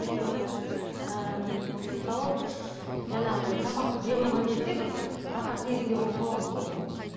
өйткені ыыы мысалы жаңағындай тамақ жеп алған кезде бір рахат сезімде болып қаласың